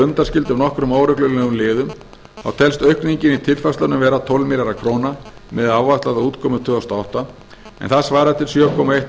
undanskildum nokkrum óreglulegum liðum þá telst aukningin í tilfærslunum vera um tólf milljarðar króna miðað við áætlaða útkomu tvö þúsund og átta en það svarar til sjö komma eitt